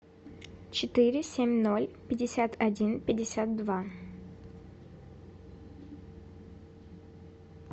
четыре семь ноль пятьдесят один пятьдесят два